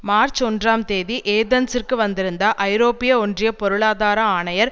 March ஒன்றாம் தேதி ஏதென்ஸிற்கு வந்திருந்த ஐரோப்பிய ஒன்றிய பொருளாதார ஆணையர்